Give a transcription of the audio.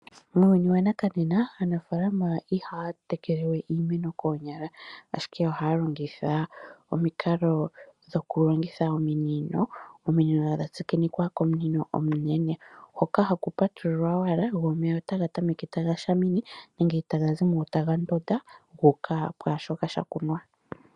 Muuyuni wanakanena aanafaalama ihaya tekelewe iimeno koonyala, ashike ohaya longitha omikalo dhoku longitha ominino, ominino dhatsikinikwa komunino omunene, hoka haku patululwa owala go omeya otaga tameke taga shamine nenge taga zi mo taga ndonda guuka pwaashoka shakunwa.